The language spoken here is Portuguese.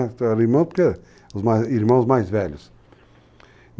Então eram irmãos, porque eram irmãos mais velhos.